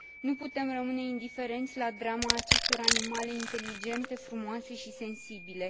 Nu putem rămâne indiferenți la drama acestor animale inteligente, frumoase și sensibile.